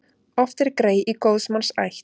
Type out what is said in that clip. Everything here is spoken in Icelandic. Oft er grey í góðs manns ætt.